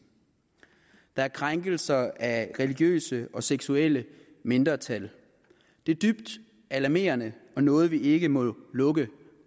der er krænkelser af religiøse og seksuelle mindretal det er dybt alarmerende og noget vi ikke må lukke